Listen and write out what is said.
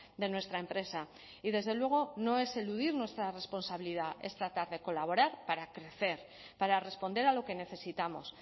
de nuestra empresa y desde luego no es eludir nuestra responsabilidad es tratar de colaborar para crecer para responder a lo que necesitamos